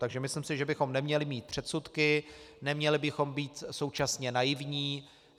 Takže myslím si, že bychom neměli mít předsudky, neměli bychom být současně naivní.